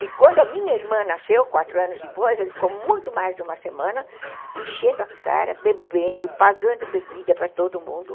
E quando a minha irmã nasceu, quatro anos depois, ele ficou muito mais de uma semana enchendo a cara, bebendo, pagando bebida para todo mundo.